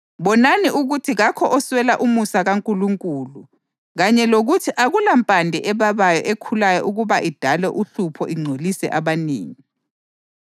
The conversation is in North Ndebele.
Bonani ukuthi kakho oswela umusa kaNkulunkulu kanye lokuthi akulampande ebabayo ekhulayo ukuba idale uhlupho ingcolise abanengi.